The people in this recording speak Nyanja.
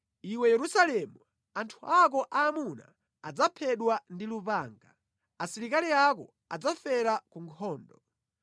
Iwe Yerusalemu anthu ako aamuna adzaphedwa ndi lupanga, asilikali ako adzafera ku nkhondo.